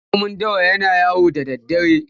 Raƙumin dawa yana yawo da daddare.